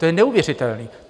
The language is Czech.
To je neuvěřitelné!